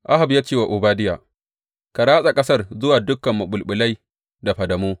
Ahab ya ce wa Obadiya, Ka ratsa ƙasar zuwa dukan maɓulɓulai da fadamu.